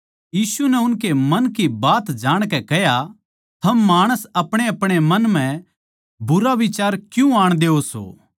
यीशु नै उनकै मन की बात जाणकै कह्या थम माणस अपणेअपणे मन म्ह बुरा बिचार क्यूँ आण देओ सों